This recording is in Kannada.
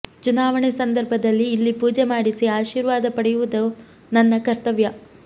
ಚುನಾವಣೆ ಸಂದರ್ಭದಲ್ಲಿ ಇಲ್ಲಿ ಪೂಜೆ ಮಾಡಿಸಿ ಆಶೀರ್ವಾದ ಪಡೆಯುವುದು ನನ್ನ ಕರ್ತವ್ಯ